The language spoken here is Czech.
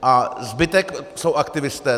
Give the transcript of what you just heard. A zbytek jsou aktivisté.